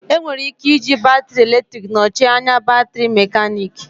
Enwere ike iji batrị eletrik nọchie anya batrị mekanịka